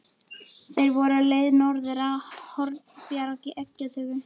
Þeir voru á leið norður á Hornbjarg í eggjatöku.